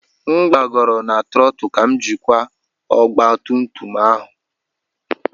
M gbagoro na trottle ka m jikwa ọgba tum tum ahụ.